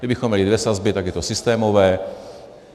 Kdybychom měli dvě sazby, tak je to systémové.